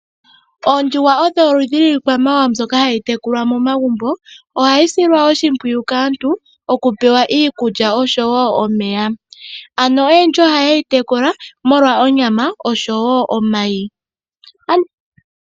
Oondjuhwa odho oludhi lwiikwamawamwa mbyono hayi tekulwa momagumbo, ohayi silwa oshimpwiyu kaantu okupewa iikulya nomeya, oyendji ohaye yi tekula molwa onyama nomayi.